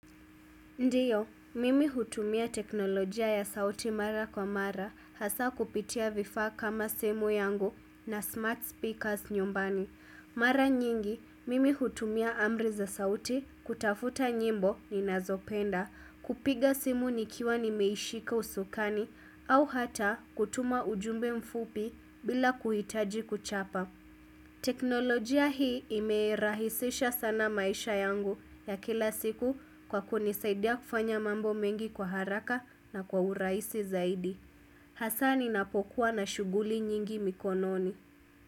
Ndio, mimi hutumia teknolojia ya sauti mara kwa mara hasaa kupitia vifaa kama simu yangu na smart speakers nyumbani. Mara nyingi, mimi hutumia amri za sauti kutafuta nyimbo ninazopenda kupiga simu nikiwa nimeishika usukani au hata kutuma ujumbe mfupi bila kuhitaji kuchapa. Teknolojia hii imerahisisha sana maisha yangu ya kila siku kwa kunisaidia kufanya mambo mengi kwa haraka na kwa uraisi zaidi Hasaa ninapokuwa na shughuli nyingi mikononi.